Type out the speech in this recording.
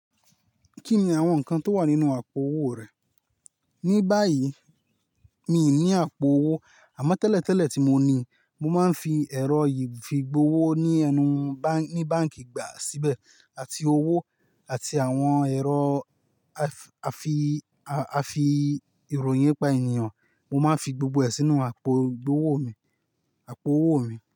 Kí ni àwọn nǹkan tó wà nínú àpò owó rẹ? Ní báyìí mi ò ní àpò owó, àmọ́ tẹ́lẹ̀ tẹ́lẹ̀ tí mo ní, mo máa ń fi ẹ̀rọ ìfigbowó ní ẹnu báǹkì gbà síbẹ̀, àti owó àti àwọn ẹ̀rọ afi, afi, afi ìròyìn ye pa ènìyàn. Mo máa ń fi gbogbo ẹ̀ sínú àpò ìgbowó mi, àpò owó mi.